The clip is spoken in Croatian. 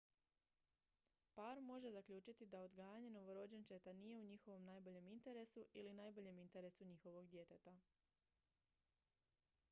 par može zaključiti da odgajanje novorođenčeta nije u njihovom najboljem interesu ili najboljem interesu njihovog djeteta